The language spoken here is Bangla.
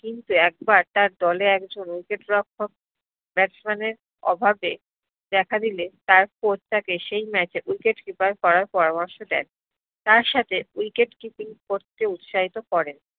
কিন্তু একবার তার দ্লে একজন wicket রক্ষক batsman এর অভাবে দেখা দিলে সেই match এ wicketkeeper করার পরামর্শ দেয় তার সাথে wicketkeeping করতে উৎসাহিত করেন